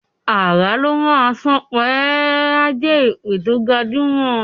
"Àrà ló má sàn pa e" is a jé èpè to gbajumo.